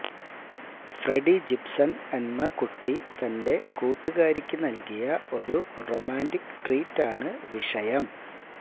Freddy Gibson എന്ന കുട്ടി തന്റെ കൂട്ടുകാരിക്ക് നൽകിയ ഒരു റൊമാന്റിക് ട്രീറ്റ് ആണ് വിഷയം